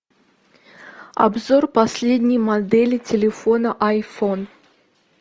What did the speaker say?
обзор последней модели телефона айфон